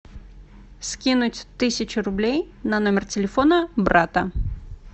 скинуть тысячу рублей на номер телефона брата